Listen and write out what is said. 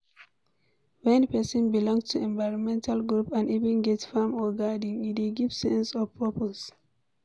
When person belong to environmental group and even get farm or garden, e dey give sense of purpose